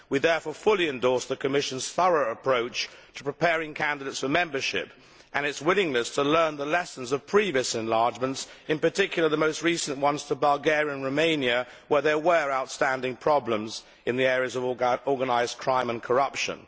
We therefore fully endorse the Commission's thorough approach to preparing candidates for membership and its willingness to learn the lessons of previous enlargements, in particular, the most recent ones to Bulgaria and Romania, where there were outstanding problems in the areas of organised crime and corruption.